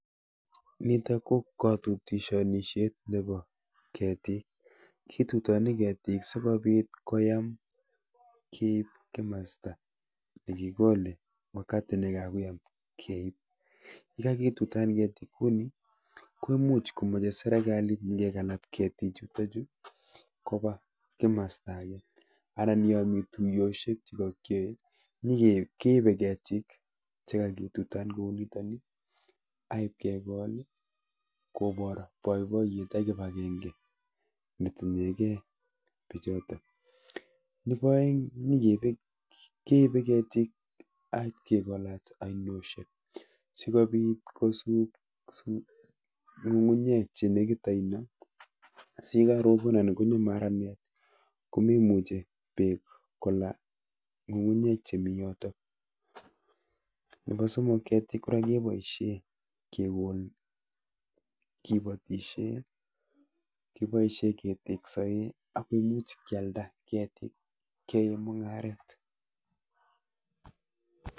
Nitok ko katutonishet nepo ketik. kitutoni ketik sikobit koyam keip kimasta nekikole wakati nekakoyam keip. yekakitutan ketik kuni ko imuch komeche serekalit nyikekalap ketichutochu kopa kimasta ake anan yomi tuiyoshek chikakyoe nyike kepe ketik chikaketutan kou nitoni aipkekol kobor boiboyet ak kipakenke netinyekei bichoto. Nepi oeng keipe ketik aipkekolat ainoshek sikobit kosup ng'ung'unyek chenekit oino si yekarobon anan konyo maranet ko memuche beek kola ng'ung'unyek chemi yotok. Nepo somok ketik kora keboishe kipotishe, kiboishe keteksoe, ak komuch kyalda ketik, kiyoe mung'aret.